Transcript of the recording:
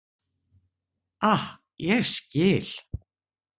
Ah, ég skil.